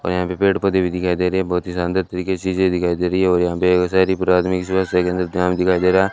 और यहाँ पे पेड़ पौधे भी दिखाई दे रहे है बहोत ही शानदार तरीके चीजें दिखाई दे रही है और यहां पे हो सारी पुरादनी जो है दिखाई दे रहा।